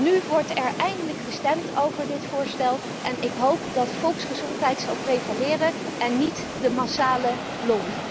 zijn. Nu wordt er eindelijk gestemd over dit voorstel en ik hoop dat volksgezondheid zal prevaleren en niet de massale lobby.